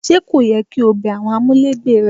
Ṣé kò yẹ kí o bẹ àwọn amulegbe rẹ wò?